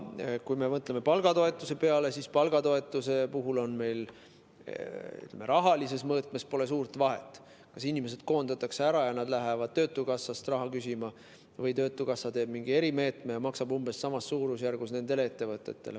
Kui me mõtleme palgatoetuse peale, siis pole rahalises mõõtmes suurt vahet, kas inimesed koondatakse ära ja nad lähevad töötukassast raha küsima või teeb töötukassa mingi erimeetme ja maksab nendele ettevõtetele umbes samas suurusjärgus.